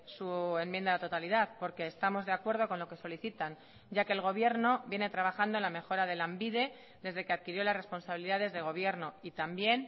su enmienda a la totalidad porque estamos de acuerdo con lo que solicitan ya que el gobierno viene trabajando en la mejora de lanbide desde que adquirió las responsabilidades de gobierno y también